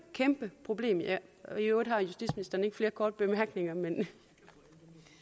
kæmpe problem og i øvrigt har justitsministeren ikke flere korte bemærkninger men